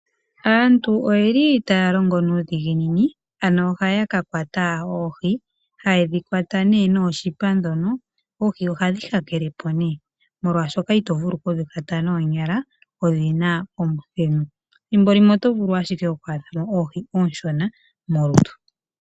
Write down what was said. Aantu oyeli taya longo nuudhiginini ohaya ka kwata oohi hayedhi kwata nooshipa ndhono oohi ohadhi hakelepo molwashoka ito kulu okudhi kwata noonyala odhina omuthenu ethimbo limwe oto vulu ashike oku adha mo oohi onshona molutu.